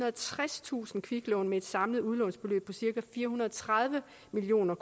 og tredstusind kviklån med et samlet udlånsbeløb på cirka fire hundrede og tredive million